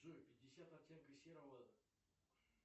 джой пятьдесят оттенков серого